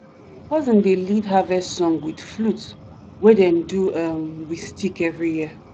cousin dey lead harvest song with flute wey dem do um with stick every year.